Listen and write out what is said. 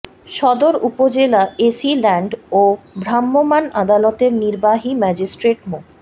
সদর উপজেলা AC land ও ভ্রাম্যমাণ আদালতের নির্বাহী ম্যাজিস্ট্রেট মো